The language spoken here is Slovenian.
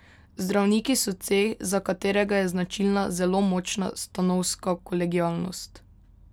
Zdravniki so ceh, za katerega je značilna zelo močna stanovska kolegialnost.